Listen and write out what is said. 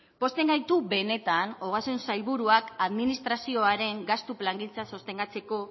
pozten gaitu benetan ogasun sailburuak administrazioaren gastu plangintza sostengatzeko